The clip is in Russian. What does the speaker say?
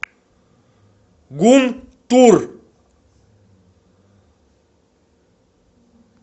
гунтур